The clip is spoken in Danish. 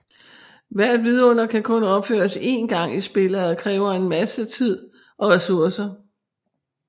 Hvert vidunder kan kun opføres én gang i spillet og kræver en masse tid og ressourcer